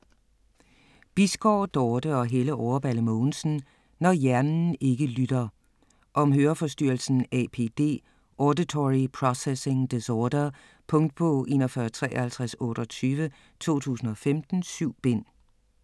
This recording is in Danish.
Bisgaard, Dorte og Helle Overballe Mogensen: Når hjernen ikke lytter Om høreforstyrrelsen APD - auditory processing disorder. Punktbog 415328 2015. 7 bind.